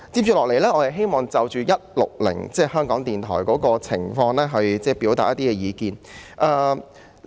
接下來，我想就"總目 160— 香港電台"的情況表達意見。